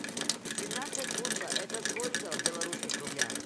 семнадцать фунтов это сколько в белорусских рублях